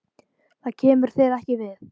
Það kemur þér ekki við.